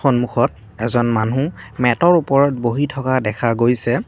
সন্মুখত এজন মানুহ মেতৰ ওপৰত বহি থকা দেখা গৈছে।